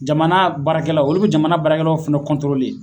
Jamana baarakɛlaw olu bi jamana barakɛlaw fana